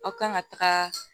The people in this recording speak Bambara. Aw kan ka taga